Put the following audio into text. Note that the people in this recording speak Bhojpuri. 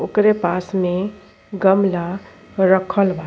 ओकरे पास में गमला रखल बा।